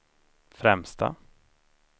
främsta